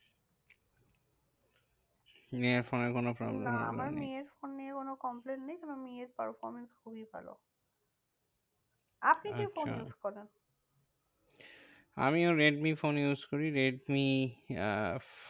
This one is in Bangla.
মেয়ের ফোনের কোনো complain নেই? না আমার মেয়ের ফোনে কোনো complain নেই, কারণ মেয়ের performance খুবই ভালো। আপনি কি আচ্ছা ফোন use করেন? আমিও রেডমি ফোন use করি। রেডমি আহ